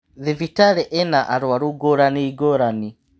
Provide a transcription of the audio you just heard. Thibitarĩ ĩna aruaru ngũrani ngũrani.